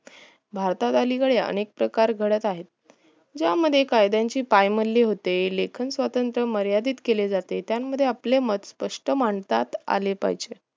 भारतात अलिकडे अनेक प्रकार घडत आहे या मध्ये कायद्दाची पायमल्ली होते लेखन स्वतंत्र मर्यादिद केले जाते त्यामध्ये आपले मत स्पष्ट मांडता आले पाहिजे